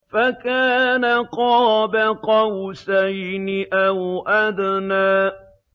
فَكَانَ قَابَ قَوْسَيْنِ أَوْ أَدْنَىٰ